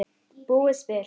búið spil.